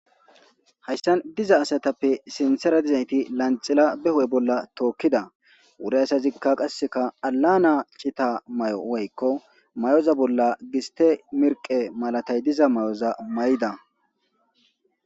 Hayssan diza asatappe sintera dizayti lanxila beho'e bolla tookkida wure asazikka qasseka alana chita may'o woykko may'oza bolla giste mirqe malatay diza may'oza may'da.